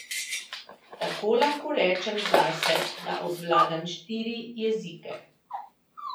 Tako lahko rečem zase, da obvladam štiri jezike.